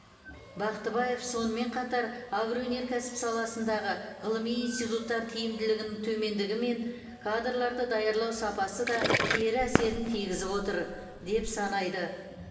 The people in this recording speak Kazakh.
м бақтыбаев сонымен қатар агроөнеркәсіп саласындағы ғылыми институттар тиімділігінің төмендігі мен кадрларды даярлау сапасы да кері әсерін тигізіп отыр деп санайды